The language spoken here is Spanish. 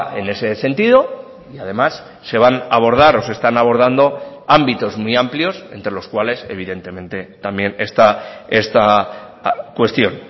en ese sentido y además se van a abordar o se están abordando ámbitos muy amplios entre los cuales evidentemente también está esta cuestión